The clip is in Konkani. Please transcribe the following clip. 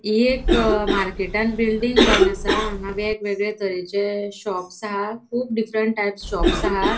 हि एक मार्केटान बिल्डिंग जावन असा. हांगा वेग वेगळे तरेचे शॉप्स हा कुब डीफेरेंट टाइप्स शॉप्स हा.